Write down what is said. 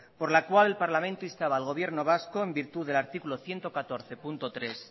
por la cual el parlamento instaba al gobierno vasco en virtud del artículo ciento catorce punto tres